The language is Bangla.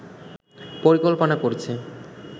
পরিকল্পনা করছে